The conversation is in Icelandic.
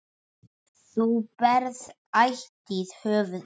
Þú berð ætíð höfuð hátt.